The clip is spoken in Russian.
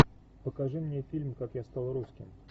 покажи мне фильм как я стал русским